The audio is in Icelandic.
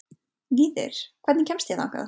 Víðir, hvernig kemst ég þangað?